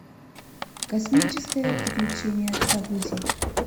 космическое приключение загрузи